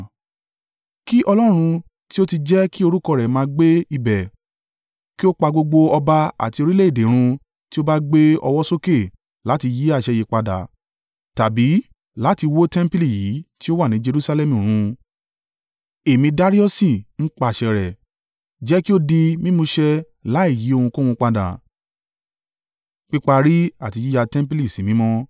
Kí Ọlọ́run, tí ó ti jẹ́ kí orúkọ rẹ̀ máa gbé ibẹ̀, kí ó pa gbogbo ọba àti orílẹ̀-èdè rún tí ó bá gbé ọwọ́ sókè láti yí àṣẹ yìí padà tàbí láti wó tẹmpili yìí tí ó wà ní Jerusalẹmu run. Èmi Dariusi n pàṣẹ rẹ̀, jẹ́ kí ó di mímúṣẹ láìyí ohunkóhun padà.